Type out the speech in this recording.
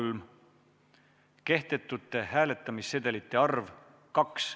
Neljandaks, kehtetute hääletamissedelite arv – 2.